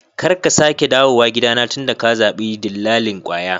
Karka sake dawowa gidana tunda ka zabi dillalin kwaya.